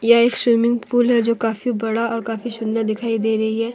यह एक swimming pool जो काफी बड़ा और काफी सुंदर दिखाई दे रही है।